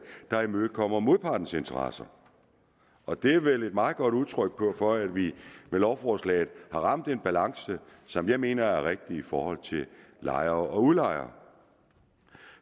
der imødekommer modpartens interesser og det er vel et meget godt udtryk for at vi med lovforslaget har ramt en balance som jeg mener er rigtig i forhold til lejere og udlejere